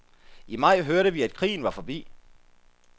I maj hørte vi, at krigen var forbi.